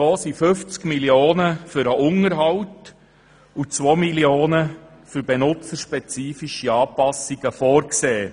Davon sind 50 Mio. Franken für den Unterhalt und 2 Mio. Franken für benutzerspezifische Anpassungen vorgesehen.